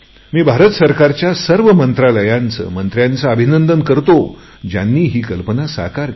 मी भारत सरकारच्या सर्व मंत्रालयांचे मंत्र्यांचे अभिनंदन करतो ज्यांनी ही कल्पना साकार केली